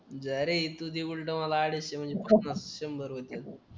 जा रे तू दे उलटा मला अडीचशे म्हणजे पन्नास शंभर होतील